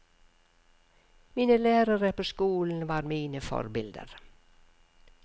Mine lærere på skolen var mine forbilder.